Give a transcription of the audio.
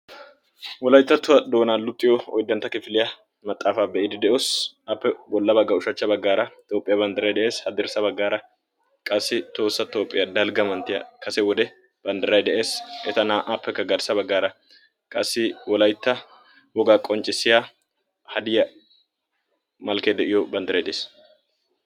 Wolayttattuwa doonaa luxiyo oyddantta kifiliya maxaafa be'iidi de"oos , Appe bolla bagga ushshachcha baggaara Toophphiya banddiray de'ees. Haddirssa baggaara qassi tohossa toophphiya dalgga manttiya kase wode banddiray de'ees, eta naa'aappekka garssa baggaara qassi wolaytta wogaa qonccissiya hadiya meray de'iyo banddiray de'ees.